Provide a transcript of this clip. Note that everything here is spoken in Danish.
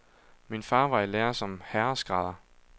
Min far var i lære som herreskrædder.